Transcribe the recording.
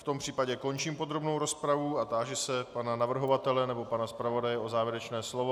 V tom případě končím podrobnou rozpravu a táži se pana navrhovatele nebo pana zpravodaje o závěrečné slovo.